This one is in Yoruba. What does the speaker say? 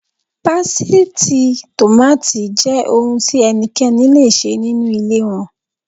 Pásítìì tòmáátì jẹ́ ohun tí ẹnikẹ́ni le ṣe nínú ilé wọn.